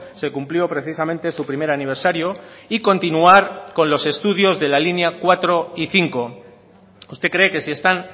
se cumplió precisamente su primer aniversario y continuar con los estudios de la línea cuatro y cinco usted cree que si están